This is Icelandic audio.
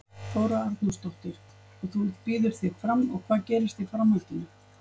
Þóra Arnórsdóttir: Og þú býður þig fram og hvað gerist í framhaldinu?